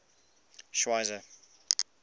schweizer